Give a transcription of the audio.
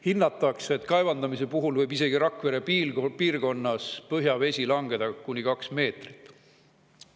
Hinnatakse, et kaevandamise puhul võib isegi Rakvere piirkonnas põhjavesi langeda kuni kaks meetrit.